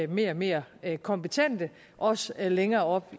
mere og mere kompetente også længere op